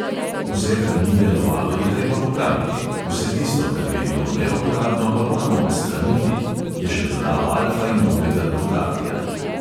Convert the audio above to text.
"Vse, kar ni delovalo, je treba popraviti, vse tisto, kar je bilo neuporabno, pa moramo odstraniti," je še dodal alfa in omega dukatija.